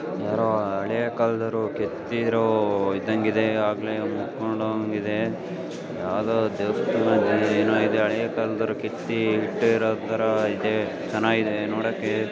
ಯಾರೋ ಹಳೇ ಕಾಲದವರು ಕೆತ್ತಿರೋ ಇದಂಗೆ ಇದೆ ಆಗ್ಲೇ ಯಾವುದೋ ದೇವರ ತರ ಇದೆ ಯಾವುದು ಹಳೆಯ ಕಾಲದ್ದು ಕೆತ್ತಿ ಇಟ್ಟಿರೋ ತರ ಇದೆ ಚೆನ್ನಾಗಿದೆ ನೋಡಕ್ಕೆ.